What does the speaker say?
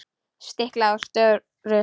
Stiklað á stóru